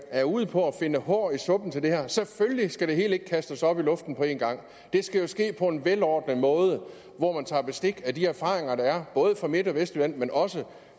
er ude på at finde hår i suppen her selvfølgelig skal det hele ikke kastes op i luften på en gang det skal jo ske på en velordnet måde hvor man tager bestik af de erfaringer der er både fra midt og vestjylland men også